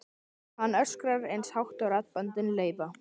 Hann öskrar eins hátt og raddböndin leyfa.